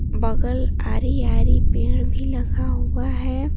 बगल आरी आरी पेड़ भी लगा हुआ है।